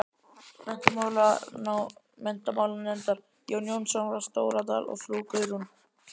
Menntamálanefndar, Jón Jónsson frá Stóradal og frú Guðrún